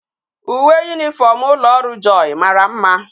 Uwe uniform ulo oru joy mara mma